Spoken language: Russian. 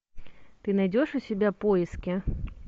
ты найдешь у себя поиски